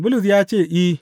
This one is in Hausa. Bulus ya ce, I.